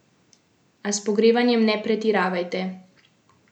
A s pogrevanjem ne pretiravajte.